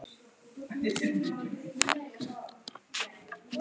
Skrifa meira þegar ég kem aftur heim.